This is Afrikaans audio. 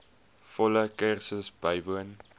volle kursus bywoon